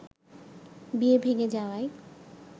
বিয়ে ভেঙ্গে যাওয়ায়